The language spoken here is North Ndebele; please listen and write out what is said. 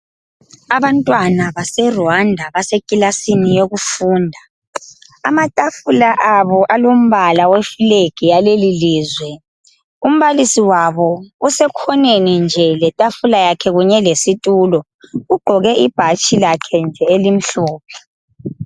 Abantwana base Rwanda basekilasini yokufunda. Amatafula abo alombala we (flag) yalelilizwe . Umbalisi wabo usekhoneni nje letafula yakhe kunye lesitulo. Ugqoke ibhatshi lakhe nje elimhlophe.